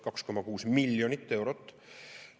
2,6 miljonit eurot!